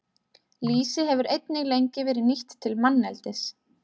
Lýsi hefur einnig lengi verið nýtt til manneldis.